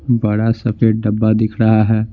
बड़ा सफेद डब्बा दिख रहा है।